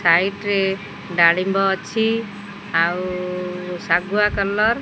height ରେ ଡାଳିମ୍ବ ଅଛି ଆଉ ଶାଗୁଆ କଲର୍ --